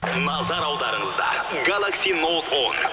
назар аударыңыздар галакси ноут он